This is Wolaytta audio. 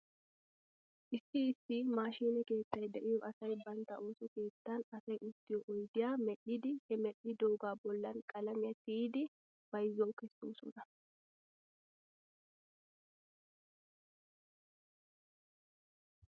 Issi issi maashiine keettay de'iyoo asay bantta ooso keettan asay uttiyoo oydiyaa medhdhidi he medhdhidoogaa bollan qalamiyaa tiyidi bayzuwaw kesoosona.